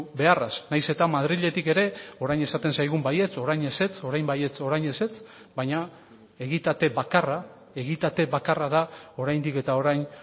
beharraz nahiz eta madriletik ere orain esaten zaigun baietz orain ezetz orain baietz orain ezetz baina egitate bakarra egitate bakarra da oraindik eta orain